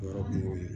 O yɔrɔ kun y'o ye